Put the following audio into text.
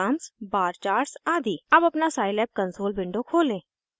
अब अपना Scilab console window खोलें